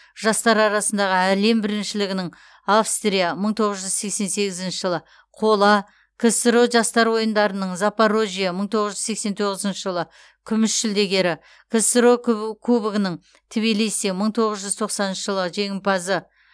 жастар арасындағы әлем біріншілігінің австрия мың тоғыз жүз сексен сегізінші жылы қола ксро жастар ойындарының запорожье мың тоғыз жүз сексен тоғызыншы жылы күміс жүлдегері ксро кубогінің тбилиси мың тоғыз жүз тоқсаныншы жылы жеңімпазы